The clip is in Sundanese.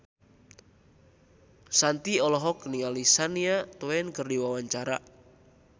Shanti olohok ningali Shania Twain keur diwawancara